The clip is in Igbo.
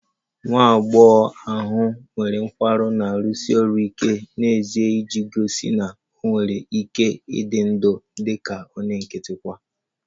Nwa agbọghọ ahụ nwere nkwarụ na-arụsi ọrụ ike n'ezie iji gosi na ọ nwere ike ịdị ndụ dị ka onye nkịtị kwa